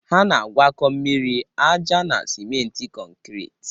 Ha na-agwakọ mmiri, aja na smenti kọnkriit